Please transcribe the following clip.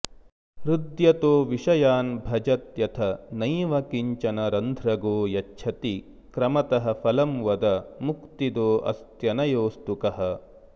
हृद्यतो विषयान् भजत्यथ नैव किञ्चन रन्ध्रगो यच्छति क्रमतः फलं वद मुक्तिदोऽस्त्यनयोऽस्तु कः